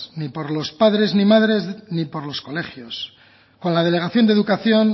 ni por los padres ni madres ni por los colegios con la delegación de educación